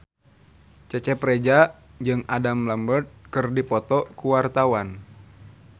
Cecep Reza jeung Adam Lambert keur dipoto ku wartawan